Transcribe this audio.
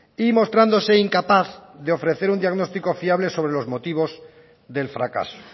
y mostrándose incapaz de ofrecer un diagnóstico fiable sobre los motivos del fracaso